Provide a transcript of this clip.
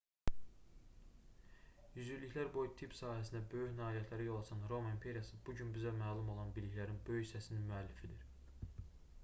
yüzilliklər boyu tibb sahəsində böyük nailiyyətlərə yol açan roma imperiyası bu gün bizə məlum olan biliklərin böyük hissəsinin müəllifidir